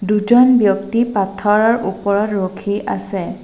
দুজন ব্যক্তি পাথৰৰ ওপৰত ৰখি আছে।